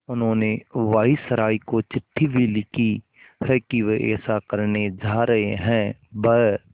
उन्होंने वायसरॉय को चिट्ठी भी लिखी है कि वे ऐसा करने जा रहे हैं ब्